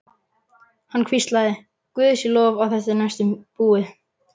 Hann hvíslaði: Guði sé lof að þetta er næstum búið.